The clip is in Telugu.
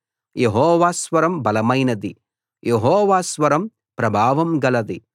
యెహోవా స్వరం బలమైనది యెహోవా స్వరం ప్రభావం గలది